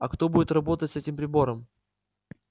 а кто будет работать с этим прибором